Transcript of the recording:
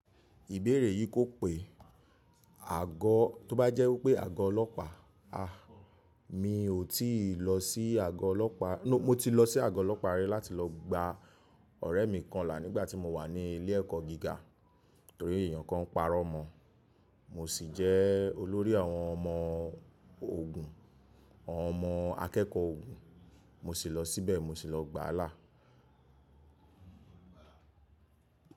Ìbéèrè yìí kò pé. Àgọ́, tó bá jẹ́ wípé àgọ́ ọlọ́pàá, a, mi ò tí ì lọ sí àgọ́ ọlọ́pàá, nó, mo ti lọ sí àgọ́ ọlọ́pàá rí láti lọ gba ọ̀rẹ́ mi kan là nígbà tí mo wà ní ilé ẹ̀kọ́ gíga. Nítorí èèyàn kan pàrọ̀ mọ, mo sì jẹ́ olórí àwọn ọmọ ogun, àwọn ọmọ akẹ́kọ̀ọ́ ogun. Mo sì lọ síbẹ̀, mo sì lọ gbáa lá.